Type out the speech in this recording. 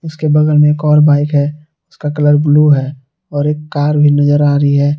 उसके बगल में एक और बाइक है उसका कलर ब्लू है और एक कार भी नजर आ रही है।